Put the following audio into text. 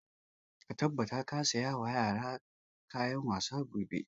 Ka tabbata ka saya wa yaran kayan wasa gobe!